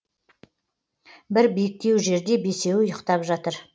бір биіктеу жерде бесеуі ұйықтап жатыр